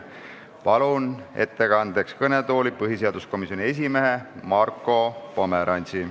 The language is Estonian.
Palun ettekandeks kõnetooli põhiseaduskomisjoni esimehe Marko Pomerantsi.